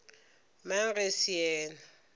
mang ge e se yena